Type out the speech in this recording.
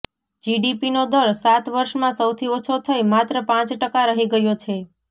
જીડીપીનો દર સાત વર્ષમાં સૌથી ઓછો થઇ માત્ર પાંચ ટકા રહી ગયો છે